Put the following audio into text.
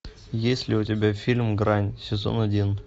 есть ли у тебя фильм грань сезон один